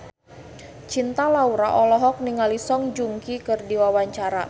Cinta Laura olohok ningali Song Joong Ki keur diwawancara